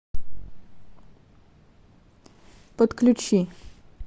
подключи